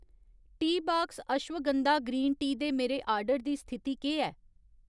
Teabox ashwagandha green tea दे मेरे order दी स्थिति केह् ऐ